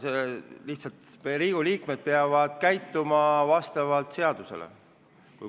Lihtsalt, Riigikogu liikmed peavad käituma vastavalt seadusele.